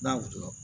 N'a wusu la